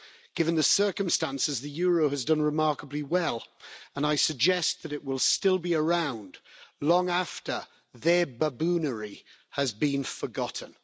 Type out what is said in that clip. Given the circumstances, the euro has done remarkably well and I suggest that it will still be around long after their baboonery has been forgotten.